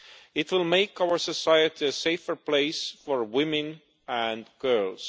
It will make our society a safer place for women and girls.